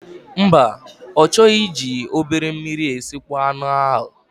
Mba, ọ chọghị iji obere mmiri esịkpo anụ ahụ.